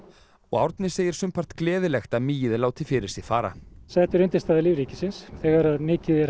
og Árni segir sumpart gleðilegt að mýið láti fyrir sér fara þetta er undirstaða lífríkisins þegar mikið er